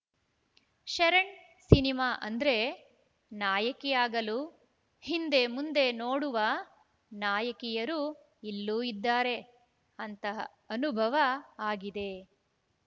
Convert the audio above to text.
Sharan cinema ಅಂದ್ರೆ ನಾಯಕಿ ಆಗಲು ಹಿಂದೆ ಮುಂದೆ ನೋಡುವ ನಾಯಕಿಯರು ಇಲ್ಲೂ ಇದ್ದಾರೆ ಅಂತಹ ಅನುಭವ ಆಗಿದೆ